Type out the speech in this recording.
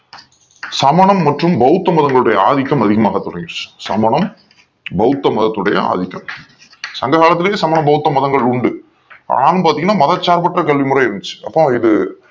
சமன மற்றும் பௌத்த மதங்களுடைய ஆதிக்கம் அதிகமாக தொடக்கிச்சு சமணம் பௌத்த மதத்தொடைய ஆதித்தம் சங்க காலத்திளும் சமண பௌத்தம் மதங்கள் உண்டு ஆண பாத்திங்கனா மத சார்ப்பற்ற கல்வி முறை இருந்துச்சி அப்போ இது